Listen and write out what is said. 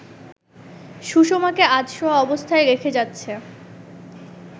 সুষমাকে আধশোয়া অবস্থায় রেখে যাচ্ছে